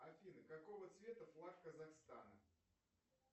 афина какого цвета флаг казахстана